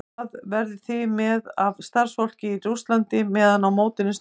Hvað verðið þið með af starfsfólki í Rússlandi meðan á mótinu stendur?